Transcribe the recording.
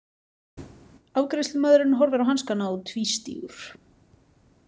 Afgreiðslumaðurinn horfir á hanskana og tvístígur.